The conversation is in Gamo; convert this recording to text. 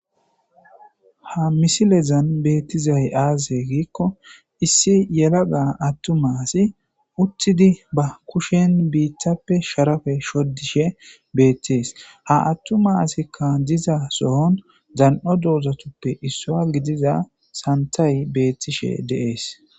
ha misilezan beettizay aaze giikko issi yelaga attu maasi uttidi ba kushen biittappe sharafe shoddishe beettees ha attu maasikka diza sohon dan7o doozatuppe issua gidiza santay beettishe deees